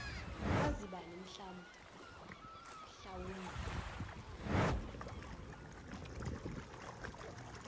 kwazi bani mhlawumbe